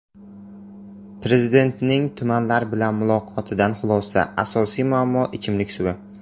Prezidentning tumanlar bilan muloqotidan xulosa: asosiy muammo ichimlik suvi.